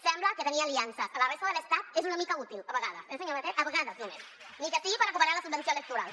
sembla que tenir aliances a la resta de l’estat és una mica útil a vegades eh senyor batet a vegades només encara que sigui per recuperar la subvenció electoral